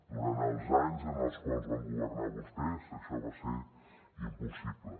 durant els anys en els quals van governar vostès això va ser impossible